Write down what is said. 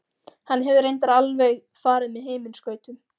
Hann hefur reyndar alveg farið með himinskautum.